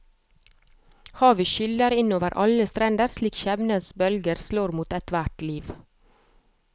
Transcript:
Havet skyller inn over alle strender slik skjebnens bølger slår mot ethvert liv.